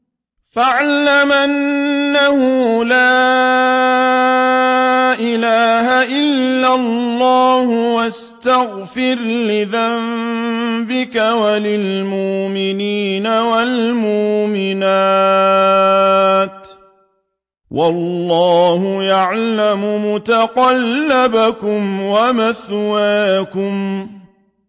فَاعْلَمْ أَنَّهُ لَا إِلَٰهَ إِلَّا اللَّهُ وَاسْتَغْفِرْ لِذَنبِكَ وَلِلْمُؤْمِنِينَ وَالْمُؤْمِنَاتِ ۗ وَاللَّهُ يَعْلَمُ مُتَقَلَّبَكُمْ وَمَثْوَاكُمْ